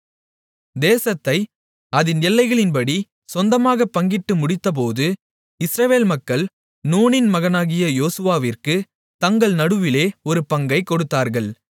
தேசத்தை அதின் எல்லைகளின்படி சொந்தமாகப் பங்கிட்டு முடித்தபோது இஸ்ரவேல் மக்கள் நூனின் மகனாகிய யோசுவாவிற்குத் தங்கள் நடுவிலே ஒரு பங்கைக் கொடுத்தார்கள்